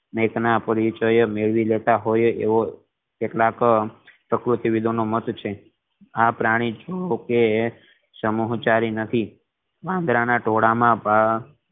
એક ન પરિચય મેળવી લેતા હોય એવો આ પ્રાણી જોકે સમજદાર નથી વાંદરા ના તોલા માં